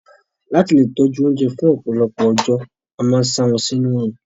Láti lè tọjú oúnjẹ fún ọ̀pọ̀lọpọ̀ ọjọ́, a máa n sa wọn sinú orún.